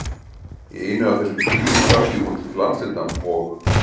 Í einu af þessum fríum skrapp ég út, til amsterdam og